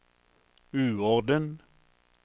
uorden